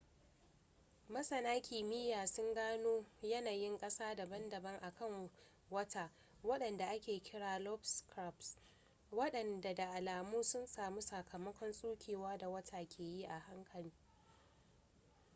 masana kimiyya sun gano yanayin kasa daban-daban a kan wata wadanda ake kira da lobate scarps wadanda da alamu sun samu sakamakon tsukewa da wata ke yi a hankali